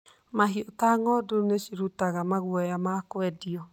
Mahiũ ta ng'ondu nĩ cirutaga maguoya ma kũendio.